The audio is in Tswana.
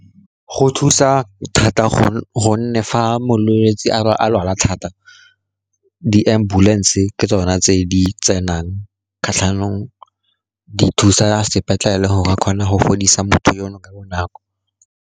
Go thusa thata, gonne fa molwetsi a lwala thata, di-ambulance ke tsona tse di tsenang kgatlhanong, di thusa sepetlele go re ba kgone go fodisa motho yono ka bonako.